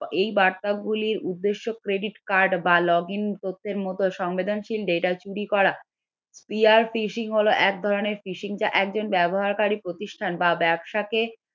এই বার্তাগুলোর উদ্দেশ্য credit card বা login তথ্যের মত সংবেদনশীল data চুরি করা fishing হলো এক ধরনের fishing যা একজন ব্যবহারকারী প্রতিষ্ঠান বা ব্যবসাকে